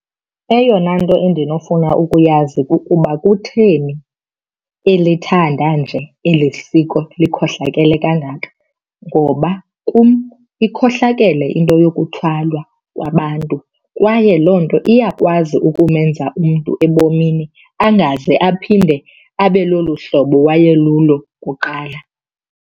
Eyona nto endinofuna ukuyazi kukuba kutheni elithanda nje eli siko likhohlakele kangaka. Ngoba kum ikhohlakele into yokuthwalwa kwabantu kwaye loo nto iyakwazi ukumenza umntu ebomini angaze aphinde abe lolu hlobo waye lulo kuqala.